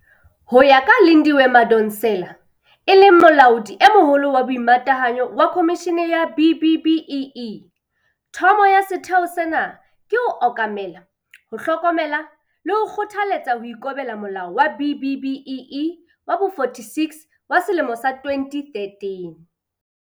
Ho ya ka Lindiwe Madonsela, e leng Molaodi e Moholo wa Boimatahanyo wa Khomishene ya B-BBEE, thomo ya setheo sena ke ho okamela, ho hlokomela le ho kgothaletsa ho ikobela Molao wa B-BBEE wa bo-46 wa selemo sa 2013.